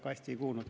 Ma hästi ei kuulnud.